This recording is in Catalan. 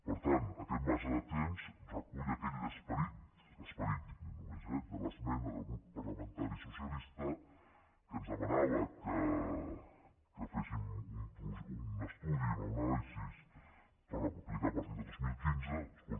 per tant aquest marge de temps recull aquell esperit l’esperit dic només eh de l’esmena del grup par·lamentari socialista que ens demanava que féssim un estudi una anàlisi per aplicar a partir de dos mil quinze escolti